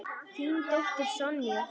Þín dóttir, Sonja.